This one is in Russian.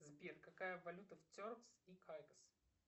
сбер какая валюта в теркс и кайкос